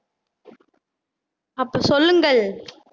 அப்ப சொல்லுங்கள்